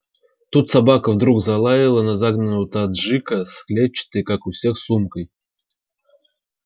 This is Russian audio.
тут собака вдруг взлаяла на загнанного таджика с клетчатой как у всех сумкой